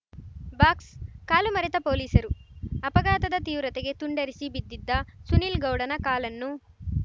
box ಕಾಲು ಮರೆತ ಪೊಲೀಸರು ಅಪಘಾತದ ತೀವ್ರತೆಗೆ ತುಂಡರಿಸಿ ಬಿದ್ದಿದ್ದ ಸುನಿಲ್‌ ಗೌಡನ ಕಾಲನ್ನು